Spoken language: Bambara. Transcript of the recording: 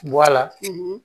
Bɔ a la